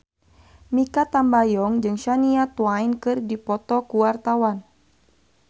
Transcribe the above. Mikha Tambayong jeung Shania Twain keur dipoto ku wartawan